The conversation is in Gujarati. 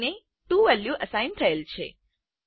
બી ને 2 વેલ્યુ અસાઇન થયેલ છે